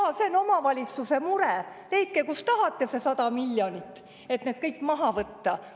Jaa, see on omavalitsuse mure, leidke, kust tahate, see 100 miljonit, et need kõik maha võtta.